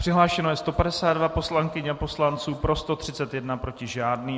Přihlášeno je 152 poslankyň a poslanců, pro 131, proti žádný.